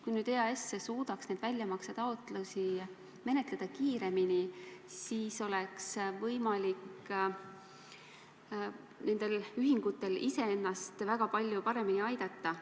Kui EAS suudaks neid väljamaksetaotlusi menetleda kiiremini, siis oleks võimalik nendel ühingutel ise ennast väga palju paremini aidata.